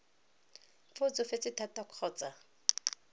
fa o tsofetse thata kgotsa